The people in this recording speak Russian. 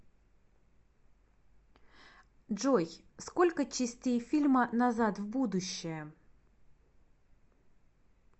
джой сколько частеи фильма назад в будущее